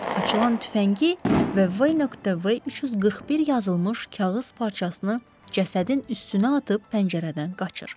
Açılan tüfəngi və V.V 341 yazılmış kağız parçasını cəsədin üstünə atıb pəncərədən qaçır.